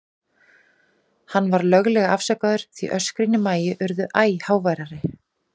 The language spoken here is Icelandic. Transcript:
Hann var löglega afsakaður, því öskrin í Maju urðu æ háværari.